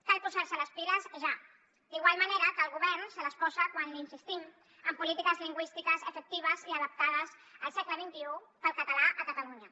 cal posar se les piles ja d’igual manera que el govern se les posa quan li insistim en polítiques lingüístiques efectives i adaptades al segle xxi per al català a catalunya